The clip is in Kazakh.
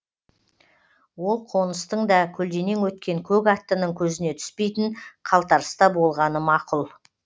ол қоныстың да көлденең өткен көк аттының көзіне түспейтін қалтарыста болғаны мақұл